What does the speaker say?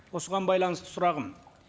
осыған байланысты сұрағым